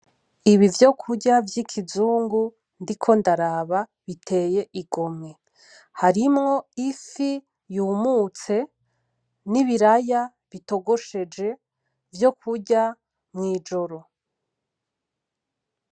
Ibivyokurya vyikizungu ndiko ndaraba biteye igomwe. Harimwo ifi yumutse nibiraya bitogosheje vyokurya mwijoro.